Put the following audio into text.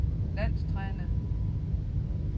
landstræner